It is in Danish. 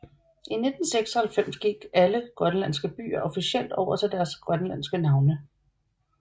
I 1996 gik alle grønlandske byer officielt over til deres grønlandske navne